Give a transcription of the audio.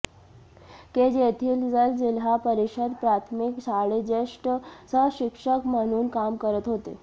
केज येथील जल जिल्हा परिषद प्राथमिक शाळेत जेष्ठ सहशिक्षक म्हणून काम करत होते